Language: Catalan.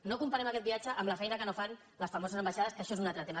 no comparem aquest viatge amb la feina que no fan les famoses ambaixades que això és un altre tema